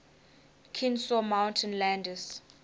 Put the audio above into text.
kenesaw mountain landis